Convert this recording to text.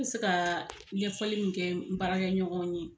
An be se ka ɲɛfɔli min kɛ n baarakɛ ɲɔgɔn ye